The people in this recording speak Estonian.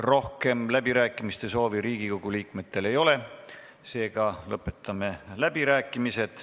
Rohkem läbirääkimiste soovi Riigikogu liikmetel ei ole, seega lõpetame läbirääkimised.